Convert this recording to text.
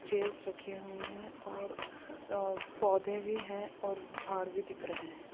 Chairs रखे हुए हैं और अ पौधे भी हैं और झाड़ भी दिख रहे हैं।